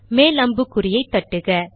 மேல் அம்புக்குறியை தட்டுக